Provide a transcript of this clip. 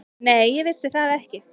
Nei, ég vissi það ekki.